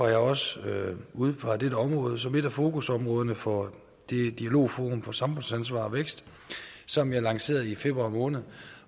jeg også udpeget dette område som et af fokusområderne for dialogforum for samfundsansvar og vækst som jeg lancerede i februar måned